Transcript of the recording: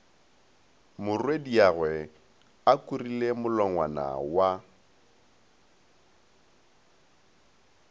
morwediagwe a kurile molongwana wa